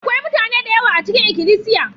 Akwai mutane da yawa a cikin ikilisiya.